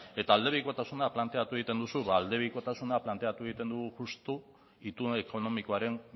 eta aldebikotasuna planteatu egiten duzu ba aldebikotasuna planteatu egiten dugu justu itun ekonomikoaren